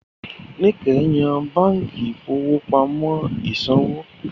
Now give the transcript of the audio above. Níkẹ̀ yan báǹkì ìfowópamọ́ ìsanwó.